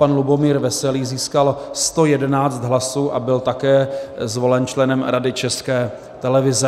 Pan Lubomír Veselý získal 111 hlasů a byl také zvolen členem Rady České televize.